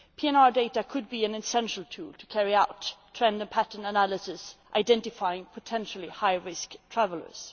PNR data could be an essential tool to carry out trend pattern analyses, identifying potentially high risk travellers.